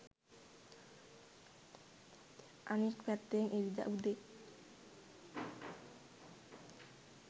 අනෙක් පැත්තෙන් ඉරිදා උදේ